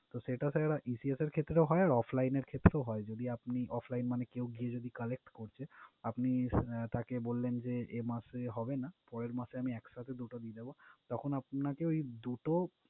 তো সেটা sir GTS এর ক্ষেত্রেও হয়, আর offline এর ক্ষেত্রেও হয়। যদি আপনি offline মানে কেউ গিয়ে যদি collect করছে আপনি তাকে বললেন যে, এ মাসে হবে না পরের মাসে আমি একসাথে দুটো দিয়ে দিবো। তখন আপনাকে ঐ দুটো